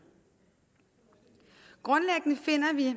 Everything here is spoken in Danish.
grundlæggende finder vi